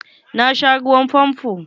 Na sha ruwan famfo.